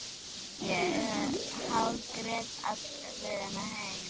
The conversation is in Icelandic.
Ég hágrét alla leiðina heim.